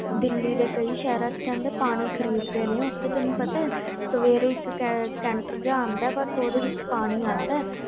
ਦਿੱਲੀ ਦੇ ਕਈ ਸ਼ਹਿਰਾਂ ਵਿੱਚ ਕਹਿੰਦੇ ਪਾਣੀ ਖ਼ਰੀਦਦੇ ਨੇ ਉੱਥੇ ਤੈਨੂੰ ਪਤਾ ਹੈ ਸਵੇਰੇ ਇੱਕ ਟੈਂਕਰ ਜਿਹਾ ਆਉਂਦਾ ਹੈ ਬਸ ਉਹਦੇ ਵਿੱਚ ਪਾਣੀ ਆਉਂਦਾ ਹੈ।